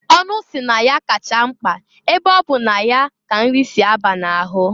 Ọnụ si na ya kacha mkpa ebe ọ bụ na ya ka nrị si a ba na-ahụ.